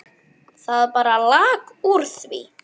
Það bara lak úr því.